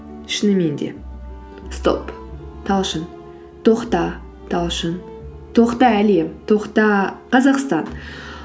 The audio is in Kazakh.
шынымен де стоп талшын тоқта талшын тоқта әлем тоқта қазақстан